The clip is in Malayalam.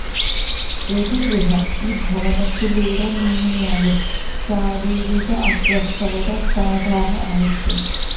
ഏതു ഗ്രഹം ഈ ഭാവത്തിലൂടെ നീങ്ങിയാലും ശാരീരിരിക അസ്വസ്ഥതകൾ സാധാരണ ആയിരിക്കും